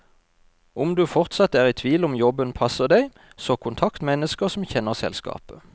Om du fortsatt er i tvil om jobben passer deg, så kontakt mennesker som kjenner selskapet.